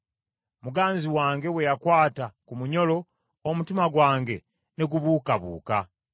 Muganzi wange bwe yakwata ku munyolo, omutima gwange ne gubuukabuuka.